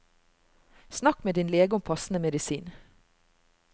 Snakk med din lege om passende medisin.